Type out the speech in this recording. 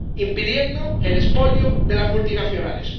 impidiendo el expolio de las multinacionales.